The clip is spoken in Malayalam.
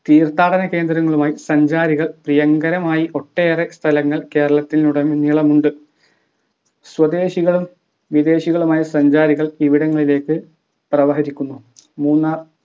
തീർത്ഥാടന കേന്ദ്രങ്ങളുമായി സഞ്ചാരികൾ പ്രിയങ്കരമായി ഒട്ടേറെ സ്ഥലങ്ങൾ കേരളത്തിലുടനീളമുണ്ട് സ്വദേശികളും വിദേശികളുമായ സഞ്ചാരികൾ ഇവിടങ്ങളിലേക്കു പ്രവഹരിക്കുന്നു മൂന്നാർ